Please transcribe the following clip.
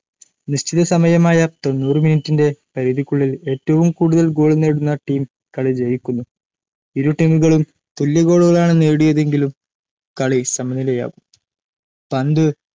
നിശ്ചിത സമയമായ തൊണ്ണൂറ് മിനിട്ടിന്റെ പരിധിക്കുള്ളിൽ ഏറ്റവും കൂടുതൽ ഗോൾ നേടുന്ന ടീം കളി ജയിക്കുന്നു ഇരു ടീമുകളും തുല്യ ഗോളുകളാണ്‌ നേടിയതെങ്കിൽ കളി സമനിലയിലാകും പന്തു